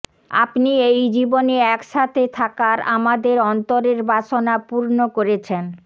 আপনি এই জীবনে একসাথে থাকার আমাদের অন্তরে বাসনা পূর্ণ করেছেন